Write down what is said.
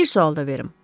Bir sual da verim.